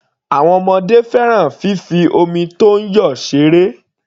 Àwọn ọmọdé fẹ́ràn fífi omi tó ń yọ ṣeré.